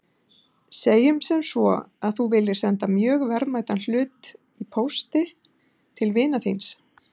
Segjum sem svo að þú viljir senda mjög verðmætan hlut í pósti til vinar þíns.